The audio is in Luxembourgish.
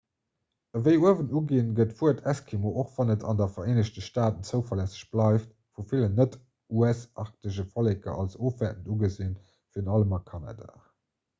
ewéi uewen uginn gëtt d'wuert eskimo och wann et an de vereenegte staaten zoulässeg bleift vu villen net-us-arktesche volleker als ofwäertend ugesinn virun allem a kanada